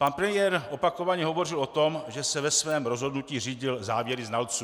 Pan premiér opakovaně hovořil o tom, že se ve svém rozhodnutí řídil závěry znalců.